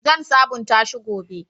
Zan sabunta shi gobe.